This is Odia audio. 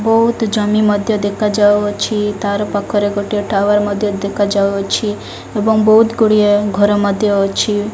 ବୋହୁତ୍ ଜମି ମଧ୍ୟ ଦେଖାଯାଉଅଛି। ତାର ପାଖରେ ଗୋଟେ ଟାୱାର ମଧ୍ୟ ଦେଖାଯାଉଅଛି ଏବଂ ବୋହୁତ୍ ଗୁଡ଼ିଏ ଘର ମଧ୍ୟ ଅଛି।